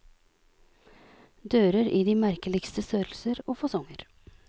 Dører i de merkeligste størrelser og fasonger.